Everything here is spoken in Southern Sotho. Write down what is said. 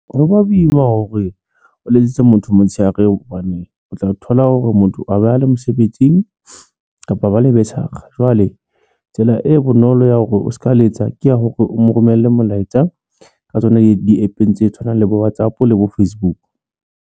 Ho ba boima hore o letsetse motho motshehare hobane o tla thola hore motho a bale mosebetsing kapa ba le jwale tsela e bonolo ya hore o se ka letsa ke ya hore o mo romella molaetsa ka tsona di-APP tse tshwanang le bo WhatsApp, le bo Facebook.